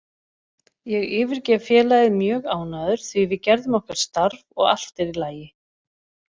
Ég yfirgef félagið mjög ánægður því við gerðum okkar starf og allt er í lagi.